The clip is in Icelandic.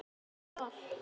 Þetta er ljóta veðrið?